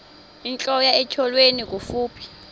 intlola etyholweni kufuphi